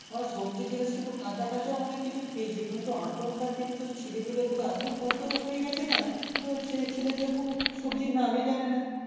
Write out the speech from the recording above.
আমরা সব্জি জিনিস কিছু কাঁচা কাঁচাও অনেককিছু খেয়েছি কিন্তু এখানকার দিনে শুধু ছেলেপেলে গুলো এতো ভদ্র হয়ে গেছে না মনে হচ্ছে ছেলেপেলে কোনো সব্জির নামই জানে না